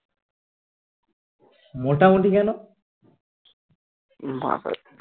মোটামুটি কেনো